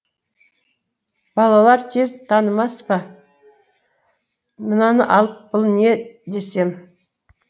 балалар тез танымас па мынаны алып бұл не десем